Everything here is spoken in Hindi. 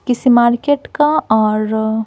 किसी मार्केट का और--